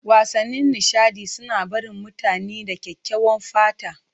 Wasannin nishaɗi suna barin mutane da kyakkyawan fata.